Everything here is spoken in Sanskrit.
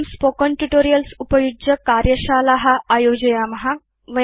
वयं स्पोकेन ट्यूटोरियल्स् उपयुज्य कार्यशाला आयोजयाम